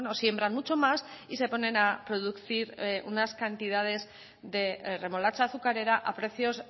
siembran mucho más y se ponen a producir unas cantidades de remolacha azucarera a precios